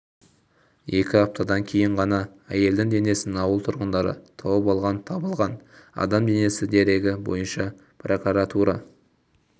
екі аптадан кейін ғана әйелдің денесін ауыл тұрғындары тауып алған табылған адам денесі дерегі бойынша прокуратура